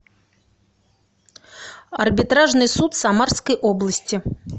арбитражный суд самарской области